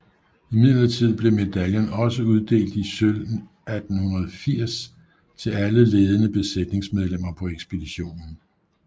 Imidlertid blev medaljen også uddelt i sølv 1880 til alle ledende besætningsmedlemmer på ekspeditionen